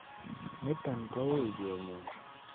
niton koui kenyor